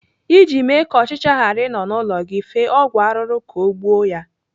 Iji mee ka ọchịcha ghara ị nọ n'ụlọ gị, fee ọgwụ arụrụ ka ọ gbuo ya.